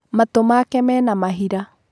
Matũ make mena mahira.